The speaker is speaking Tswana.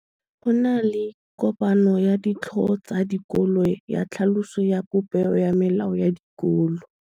Go na le kopanô ya ditlhogo tsa dikolo ya tlhaloso ya popêgô ya melao ya dikolo.